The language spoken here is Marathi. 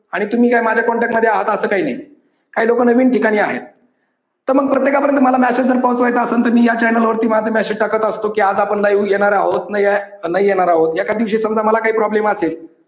आणि तुम्ही काय माझ्या कॉन्टॅक्टमध्ये आहात असं काही नाही काही लोक नवीन ठिकाणी आहेत तर मग प्रत्येकापर्यंत मेसेज जर पोचवायचा असेल तर मग मी या चैनल वर माझं मेसेज टाकत असतो, की आज आपण live येणार आहोत नाही येणार आहोत एखाद दिवशी समजा मला काही प्रॉब्लेम असेल